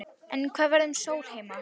En hvað verður um Sólheima?